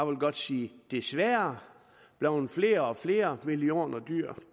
vil godt sige desværre blevet flere og flere millioner dyr